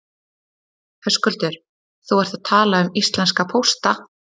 Höskuldur: Þú ert að tala um íslenska pósta?